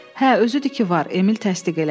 Hə, özüdür ki var, Emil təsdiq elədi.